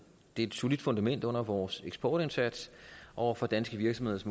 det er et solidt fundament under vores eksportindsats og for danske virksomheders